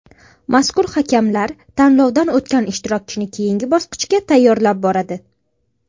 Mazkur hakamlar tanlovdan o‘tgan ishtirokchini keyingi bosqichga tayyorlab boradi.